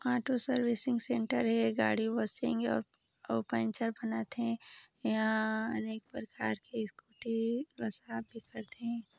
Auto servicing centre हे गाड़ी washing अउ पंचर बनाथे यहाँ अनेक प्रकार के स्कूटी ला साफ भी करथे।